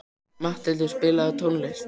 Matthildur, spilaðu tónlist.